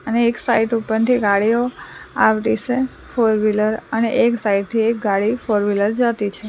અને એક સાઇટ ઉપરથી ગાડીઓ આવતી સે ફોરવીલર અને એક સાઇડ થી એક ગાડી ફોરવીલર જતી છે.